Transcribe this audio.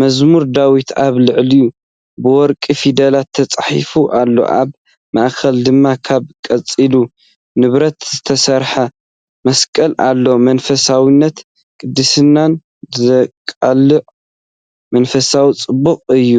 "መዝሙር ዳዊት" ኣብ ላዕሊ ብወርቂ ፊደላት ተጻሒፉ ኣሎ፡ ኣብ ማእከል ድማ ካብ ቀጻሊ ንብረት ዝተሰርሐ መስቀል ኣሎ። መንፈሳውነትን ቅድስናን ዘቃልሕ መንፈሳዊ ጽባቐ እዩ።